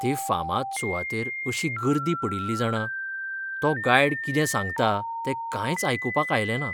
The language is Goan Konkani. ते फामाद सुवातेर अशी गर्दी पडिल्ली जाणा, तो गायड कितें सांगता तें कांयच आयकुपाक आयलें ना.